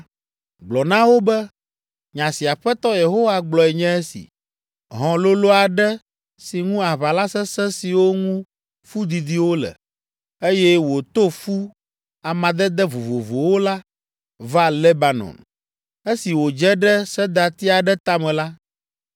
Gblɔ na wo be, ‘Nya si Aƒetɔ Yehowa gblɔe nye esi. Hɔ̃ lolo aɖe si ŋu aʋala sesẽ siwo ŋu fu didiwo le, eye wòto fu amadede vovovowo la, va Lebanon. Esi wòdze ɖe sedati aɖe tame la,